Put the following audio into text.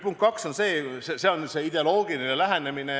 Punkt kaks on ideoloogiline lähenemine.